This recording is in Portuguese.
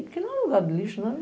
Porque não é lugar de lixo, né?